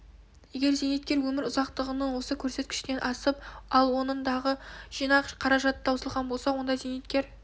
егер зейнеткер өмір ұзақтығының осы көрсеткішінен асып ал оның дағы жинақ қаражаты таусылған болса онда зейнеткер